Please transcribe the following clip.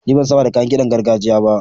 Ni ban saba da kayan ƙidan gargajiya ba.